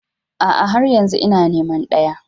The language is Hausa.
A'a, har yanzu ina neman daya.